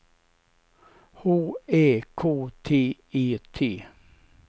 H Ä K T E T